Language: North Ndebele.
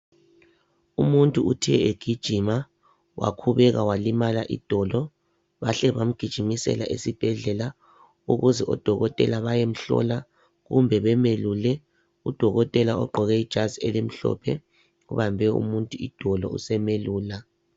Umuntu uthe egijima wakhubeka walimala idolo bahle bamgijimisela esibhedlela ukuze odokotela bayemhlola kumbe bemelule udokotela ogqoke ijazi elimhlophe ubambe umuntu idolo usemelula.